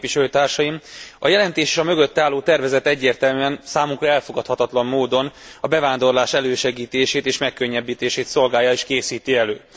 Tisztelt Képviselőtársaim! A jelentés és a mögötte álló tervezet egyértelműen számunkra elfogadhatatlan módon a bevándorlás elősegítését és megkönnyítését szolgálja és készíti elő.